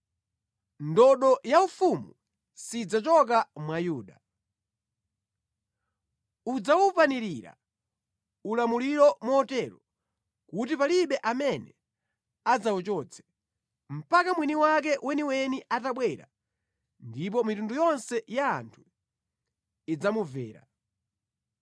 Ndodo yaufumu sidzachoka mwa Yuda, udzawupanirira ulamuliro motero kuti palibe amene adzawuchotse, mpaka mwini wake weniweni atabwera ndipo mitundu yonse ya anthu idzamumvera.